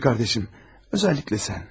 Sevgili qardaşım, özəlliklə sən.